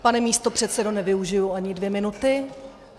Pane místopředsedo, nevyužiji ani dvě minuty.